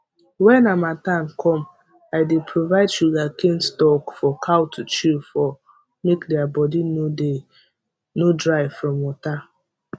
when harmattan come i dey provide sugarcane stalk for cow to chew for make thier body nor dry from water